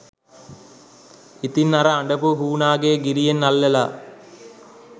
ඉතින් අර අඬපු හුනාගේ ගිරියෙන් අල්ලලා